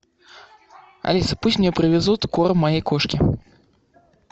алиса пусть мне привезут корм моей кошке